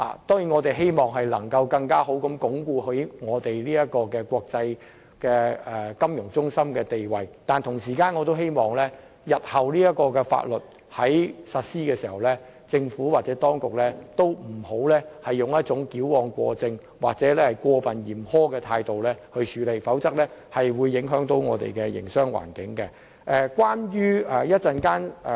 當然，我們希望在鞏固國際金融中心的地位之餘，也希望這項法例在日後實施時，政府當局不會採取矯枉過正或過分嚴苛的態度，否則可能會影響我們的營商環境。